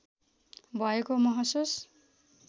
भएको महसुस